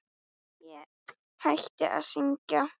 Ég hætti að syngja.